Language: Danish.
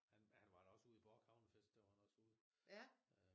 Han han var da også ude i Bork havnefest der var han også ude